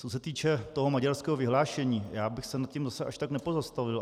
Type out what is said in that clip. Co se týče toho maďarského vyhlášení, já bych se nad tím zase až tak nepozastavil.